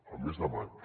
el mes de maig